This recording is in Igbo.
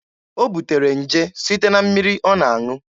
O butere nje site na mmiri ọ na-aṅụ.